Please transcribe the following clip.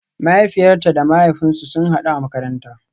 Mahaifiyata da mahaifina sun hadu a makaranta